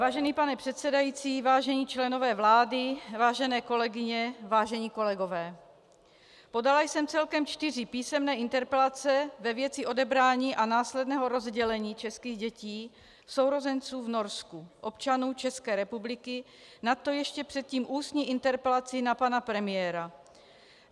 Vážený pane předsedající, vážení členové vlády, vážené kolegyně, vážení kolegové, podala jsem celkem čtyři písemné interpelace ve věci odebrání a následného rozdělení českých dětí, sourozenců, v Norsku, občanům České republiky, nadto ještě předtím ústní interpelaci na pana premiéra.